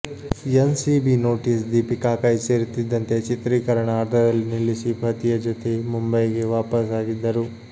N C B notice Deepika ಕೈ ಸೇರುತ್ತಿದ್ದಂತೆ ಚಿತ್ರೀಕರಣ ಅರ್ಧದಲ್ಲೇ ನಿಲ್ಲಿಸಿ ಪತಿಯ ಜೊತೆ ಮುಂಬೈಗೆ ವಾಪಸ್ ಆಗಿದ್ದರು